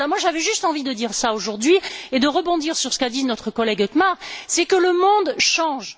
J'avais juste envie de dire cela aujourd'hui et de rebondir sur ce qu'a dit notre collègue Hökmark, c'est que le monde change.